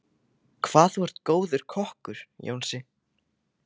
Hvað þú er góður kokkur, Jónsi.